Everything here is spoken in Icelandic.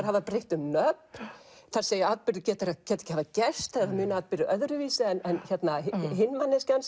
hafa breytt um nöfn þær segja að atburðir geti ekki hafa gerst þær muna atburði öðruvísi en hin manneskjan